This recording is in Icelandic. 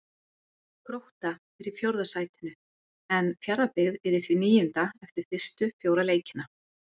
Grótta er í fjórða sætinu, en Fjarðabyggð í því níunda eftir fyrstu fjóra leikina.